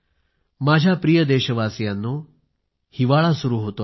माझ्या प्रिय देशवासीयांनो हिवाळा सुरू होतो आहे